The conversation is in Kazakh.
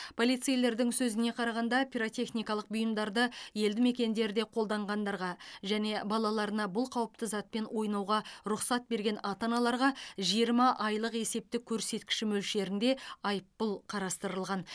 полицейлердің сөзіне қарағанда пиротехникалық бұйымдарды елді мекендерде қолданғандарға және балаларына бұл қауіпті затпен ойнауға рұқсат берген ата аналарға жиырма айлық есептік көрсеткіші мөлшерінде айыппұл қарастырылған